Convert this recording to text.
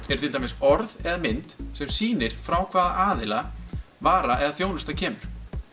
eru til dæmis orð eða mynd sem sýnir frá hvaða aðila vara eða þjónusta kemur